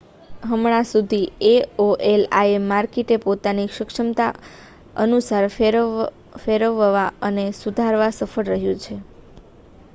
હમણાં સુધી aol im માર્કેટને પોતાની સક્ષમતા અનુસાર ફેરવવા અને સુધારવામાં સફળ રહ્યું છે